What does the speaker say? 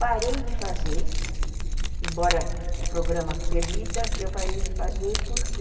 Parei de fazer, embora o programa permita, eu parei de fazer porque